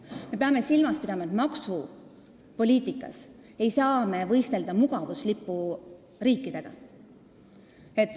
Me peame silmas pidama, et maksupoliitikas ei saa me võistelda mugavuslipuriikidega.